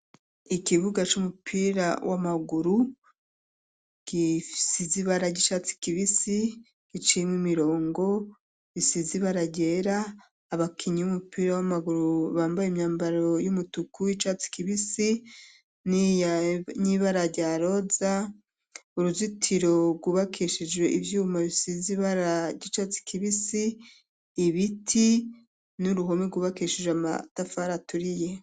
Ikibuga, c'umupira w'amaguru, gisize ibara ry'icatsi kibisi, giciyemwo imirongo, isize ibara ryera; abakinyi b'umupira w'amaguru, bambaye imyambaro y'umutuku, y'icatsi kibisi, n'ibara rya roza, uruzitiro rwubakishijwe ivyuma, bisize ibara ry'icatsi kibisi, ibiti, n'uruhome rwubakishijwe, amatafari aturiye.